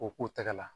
O k'u tɛgɛ la